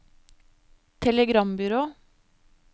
telegrambyrå